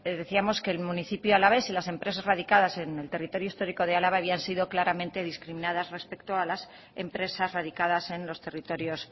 decíamos que el municipio alavés y las empresas radicadas en el territorio histórico de álava habían sido claramente discriminadas respecto a las empresas radicadas en los territorios